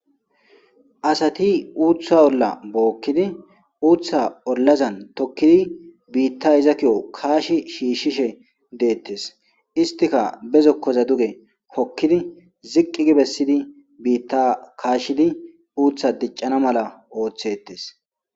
asati uutha olla bookkidi uuththa ollazan tokkidi biitta izakiyo kaashi shiishshishe deettes istika bezokkoza duge kokkidi ziqqi gibessidi biitta kaashidi uutha diccana mala ooththettes